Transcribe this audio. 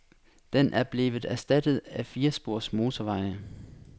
Den er blevet erstattet af firespors motorveje.